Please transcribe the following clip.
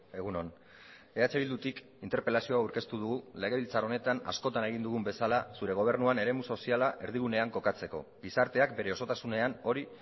egun on eh bildutik interpelazio hau aurkeztu dugu legebiltzar honetan askotan egin dugun bezala zure gobernuan eremu soziala erdigunean kokatzeko gizarteak bere osotasunean hori